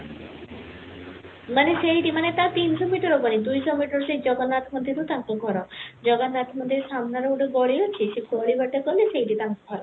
ମାନେ ସେଇଠି ମାନେ ତା ତିନିସହ metre ହବନି ଦୁଇସହ metre ସେଇ ଜଗନ୍ନାଥ ମନ୍ଦିର ରୁ ତାଙ୍କ ଘର ଜଗନ୍ନାଥ ମନ୍ଦିର ସାମ୍ନା ରେ ଗୋଟେ ଗଲା ଅଛି ସେ ଗଲି ବାଟେ ଗଲେ ସେଇଠି ତାଙ୍କ ଘର